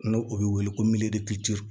N'o bɛ wele ko